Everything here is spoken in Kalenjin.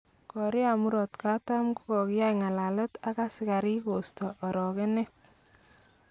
Korea murot katam kokiya ngalalet ak asikarik kosto orogenet.